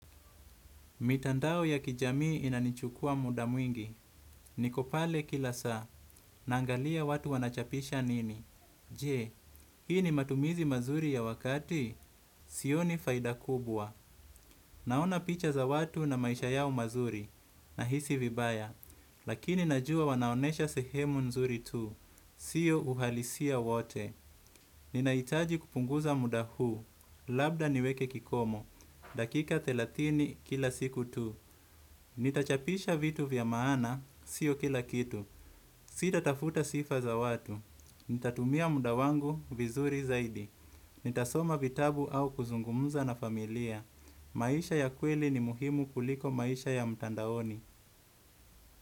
Mitandao ya kijamii inanichukua muda mwingi, niko pale kila saa, naangalia watu wanachapisha nini. Je, hii ni matumizi mazuri ya wakati? Sioni faida kubwa. Naona picha za watu na maisha yao mazuri, nahisi vibaya. Lakini najua wanaonesha sehemu nzuri tu, sio uhalisia wote. Ninahitaji kupunguza muda huu, labda niweke kikomo, dakika thelathini kila siku tu. Nitachapisha vitu vya maana, sio kila kitu. Sitatafuta sifa za watu. Nitatumia muda wangu, vizuri zaidi. Nitasoma vitabu au kuzungumza na familia. Maisha ya kweli ni muhimu kuliko maisha ya mtandaoni.